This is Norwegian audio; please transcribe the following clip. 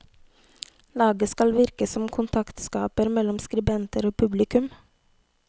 Laget skal virke som kontaktskaper mellom skribenter og publikum.